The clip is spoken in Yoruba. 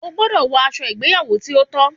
O gbọdọ wọ aṣọ ìgbéyàwò ti o tọ!